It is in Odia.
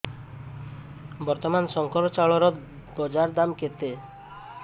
ବର୍ତ୍ତମାନ ଶଙ୍କର ଚାଉଳର ବଜାର ଦାମ୍ କେତେ